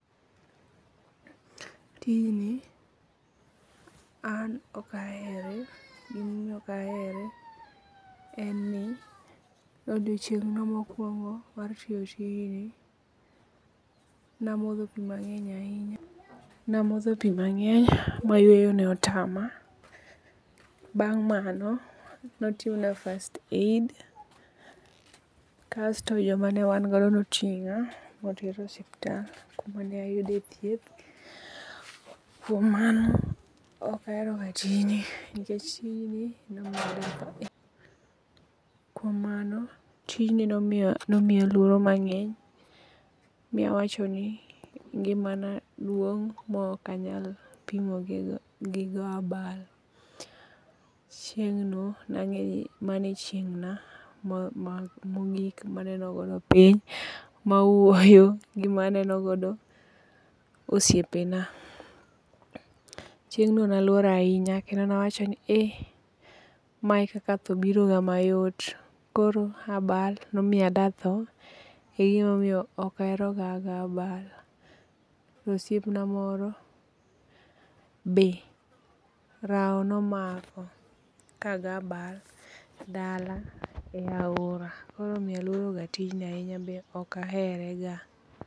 Noisy children in the background.